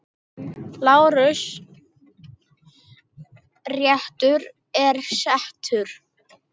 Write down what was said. LÁRUS: Réttur er settur!